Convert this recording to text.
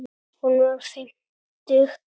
Hún var fimmtug að aldri.